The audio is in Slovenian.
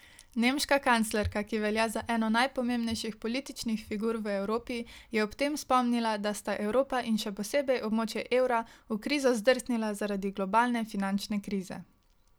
Nemška kanclerka, ki velja za eno najpomembnejših političnih figur v Evropi, je ob tem spomnila, da sta Evropa in še posebej območje evra v krizo zdrsnila zaradi globalne finančne krize.